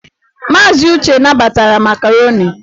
Maazị Uche nabatara makaroni.